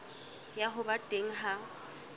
ya ho ba teng ha